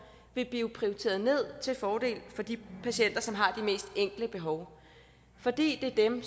vil blive prioriteret ned til fordel for de patienter som har de mest enkle behov fordi det er dem